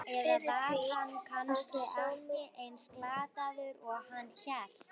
Eða var hann kannski ekki eins glataður og hann hélt?